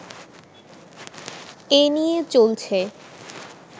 এ নিয়ে চলছে